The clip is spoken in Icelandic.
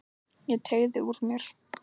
Ég teygði úr mér.